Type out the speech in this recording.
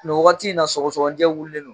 Nin wagati in na sɔgɔsɔgɔnijɛ wulilen don